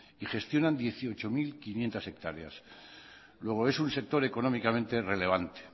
y gestionan dieciocho mil quinientos hectáreas luego es un sector económicamente relevante